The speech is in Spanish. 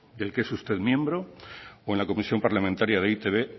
del que es usted miembro o en la comisión parlamentaria de e i te be